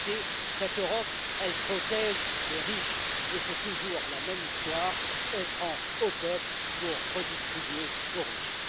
réalité, cette Europe protège les riches, et c'est toujours la même histoire on prend au peuple pour redistribuer aux riches.